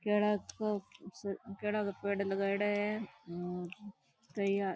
खेड़ा को खुबसूरत खेड़ा का पेड़ लगाइडा है अम कई और --